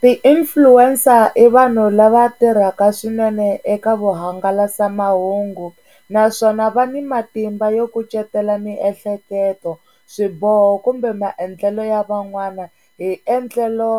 Ti-influencer i vanhu lava tirhaka swinene eka vuhangalasa mahungu. Naswona va ni matimba yo kucetela miehleketo, swiboho kumbe maendlelo ya van'wana hi endlelo